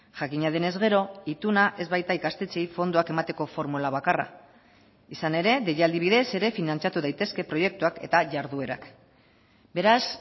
jakina denez gero ituna ez baita ikastetxeei fondoak emateko formula bakarra izan ere deialdi bidez ere finantzatu daitezke proiektuak eta jarduerak beraz